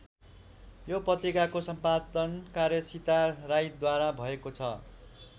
यो पत्रिकाको सम्पादन कार्य सीता राईद्वारा भएको छ।